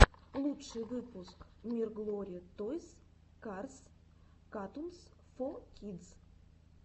лучший выпуск мирглори тойс карс катунс фо кидс